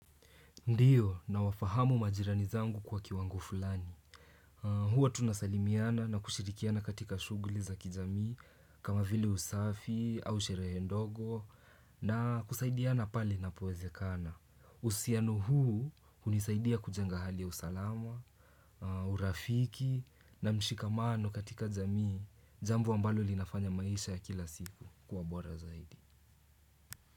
Ndiyo, nawafahamu majirani zangu kwa kiwango fulani. Huwa tunasalimiana na kushirikiana katika shughuli za kijamii kama vile usafi au sherehe ndogo na kusaidiana pali inapowezekana. Uhusiano huu hunisaidia kujenga hali ya usalama, urafiki na mshikamano katika jamii, jambo ambalo linafanya maisha ya kila siku kuwa bora zaidi.